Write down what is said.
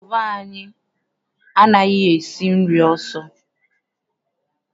Stoovu anyị anaghị esi nri ọsọ.